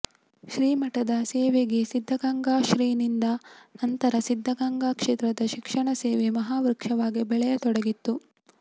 ಶ್ರೀಮಠದ ಸೇವೆಗೆ ಸಿದ್ದಗಂಗಾ ಶ್ರೀ ನಿಂತ ನಂತರ ಸಿದ್ದಗಂಗಾ ಕ್ಷೇತ್ರದ ಶಿಕ್ಷಣ ಸೇವೆ ಮಹಾ ವೃಕ್ಷವಾಗಿ ಬೆಳೆಯತೊಡಗಿತ್ತು